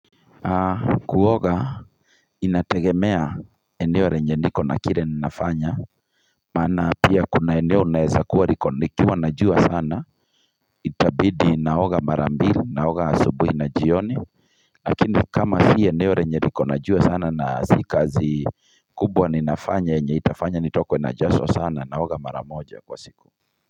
Kuoga inategemea eneo lenye niko na kile ninafanya maana pia kuna eneo unaeza kuwa liko likiwa na jua sana itabidi naoga mara mbili naoga asubuhi na jioni lakini kama si eneo lenye liko na jua sana na si kazi kubwa ninafanya yenye itafanya nitokwe na jasho sana naoga mara moja kwa siku.